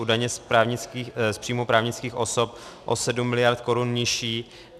U daně z příjmu právnických osob o 7 miliard korun nižší.